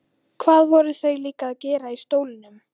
Hvað voru þau líka að gera í stólnum?